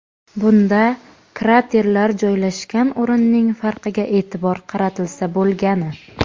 Bunda kraterlar joylashgan o‘rinning farqiga e’tibor qaratilsa bo‘lgani.